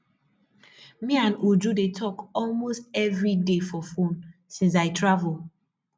me and uju dey talk almost everyday for phone since i travel